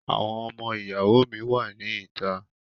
Àwọn ọmọ ìyàwó mi wà ní ìta.